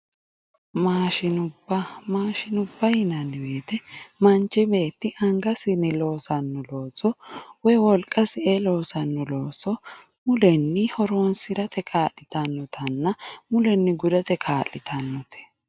maashinubba ,maashinubba yinanni woyte manchi beetti angasinni loosanno looso woy wolqasi ee loosanno looso mulenni horonsi'rate kaa'litannotanna mulenni gudate kaa'litannote.